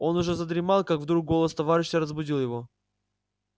он уже задремал как вдруг голос товарища разбудил его